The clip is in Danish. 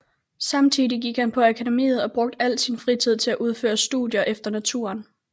Samtidig gik han på Akademiet og brugte al sin fritid til at udføre studier efter naturen